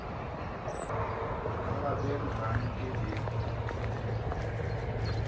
ka lapeng ga nke di